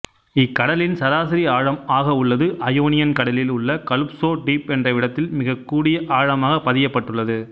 இக்கடலின் சராசரி ஆழம் ஆக உள்ளது அயோனியன் கடலில் உள்ள கலுப்சோ டீப் என்றவிடத்தில் மிகக்கூடிய ஆழமாக பதியப்பட்டுள்ளது